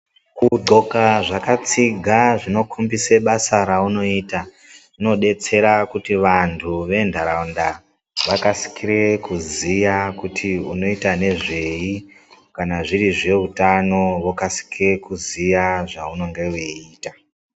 Kudhloka zvakatsiga zvinokombisa basa raunoita zvinobetsera kuti vantu ventaraunda vakasikire kuziya kuti unoita nezvei. Kana zviri zveutano vokasike kuziya zvaunonge veiita.